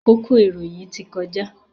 Àkókò ìròyìn ti kọjá.